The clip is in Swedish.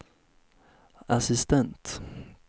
assistent